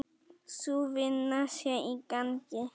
Sú vinna sé í gangi.